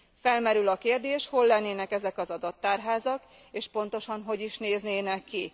Felmerül a kérdés hol lennének ezek az adattárházak, és pontosan hogy is néznének ki?